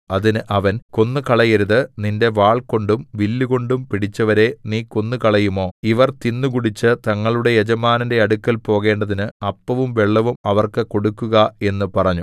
അതിന് അവൻ കൊന്നുകളയരുത് നിന്റെ വാൾകൊണ്ടും വില്ലുകൊണ്ടും പിടിച്ചവരെ നീ കൊന്നുകളയുമോ ഇവർ തിന്നുകുടിച്ച് തങ്ങളുടെ യജമാനന്റെ അടുക്കൽ പോകേണ്ടതിന് അപ്പവും വെള്ളവും അവർക്ക് കൊടുക്കുക എന്നു പറഞ്ഞു